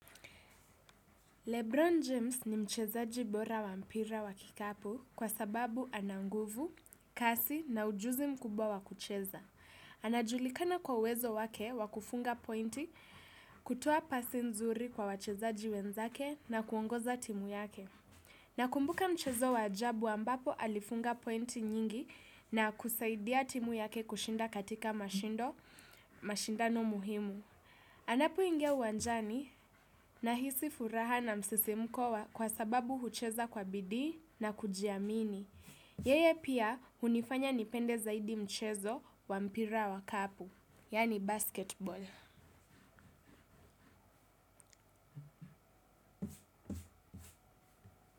Lebron James ni mchezaji bora wampira wakikapu kwa sababu ana nguvu, kasi na ujuzi mkubwa wakucheza. Anajulikana kwa wezo wake wakufunga pointi kutoa pasi nzuri kwa wachezaji wenzake na kuongoza timu yake. Nakumbuka mchezo waajabu ambapo alifunga pointi nyingi na kusaidia timu yake kushinda katika mashindo, mashindano muhimu. Anapoingia uwanjani na hisi furaha na msisimko kwa sababu hucheza kwa bidii na kujiamini. Yeye pia unifanya nipende zaidi mchezo wa mpira wa kapu, yani basketball.